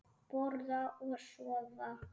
Borða og sofa.